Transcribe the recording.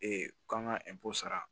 k'an ka sara